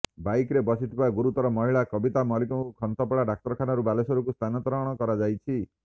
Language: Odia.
ବାଇକରେ ବସିଥିବା ଗୁରୁତର ମହିଳା କବିତା ମାଲିକଙ୍କୁ ଖନ୍ତାପଡା ଡାକ୍ତରଖାନାରୁ ବାଲେଶ୍ବରକୁ ସ୍ଥାନନ୍ତର କରାଯାଇଛି